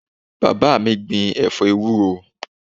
Bàbá mi gbìn ẹ̀fọ́ ewúro